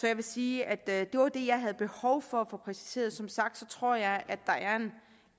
jeg vil sige at det var det jeg havde behov for at få præciseret som sagt tror jeg at der er